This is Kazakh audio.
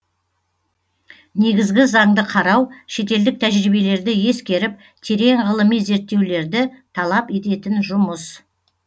негізгі заңды қарау шетелдік тәжірибелерді ескеріп терең ғылыми зерттеулерді талап ететін жұмыс